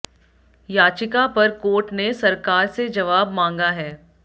याचिका पर कोर्ट ने सरकार से जवाब मांगा है